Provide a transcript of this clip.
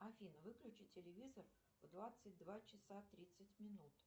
афина выключи телевизор в двадцать два часа тридцать минут